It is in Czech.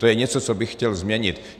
To je něco, co bych chtěl změnit.